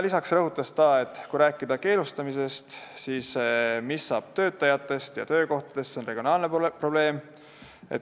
Lisaks rõhutas ta, et kui rääkida keelustamisest, siis see, mis saab töötajatest ja töökohtadest, on regionaalne probleem.